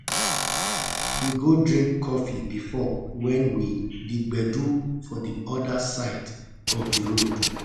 we go drink coffee before when we the gbedu for the other side of the road